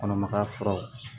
Kɔnɔmaya furaw